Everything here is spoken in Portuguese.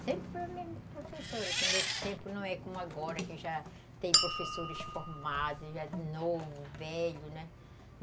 Sempre foi a mesma professora, que nesse tempo não é como agora, que já tem professores formados, já novo, velho, né?